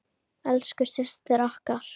Elsku systir okkar.